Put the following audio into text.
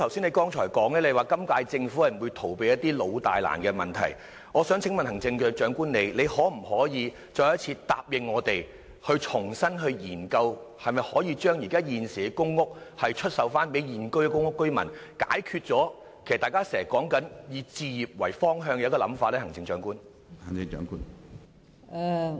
你剛才亦表示，今屆政府不會逃避一些老大難的問題，我想請問行政長官，你可否答應我們，重新研究可否將現有公屋單位出售予現有公屋居民，以符合大家現在經常說的，以置業為方向的想法呢？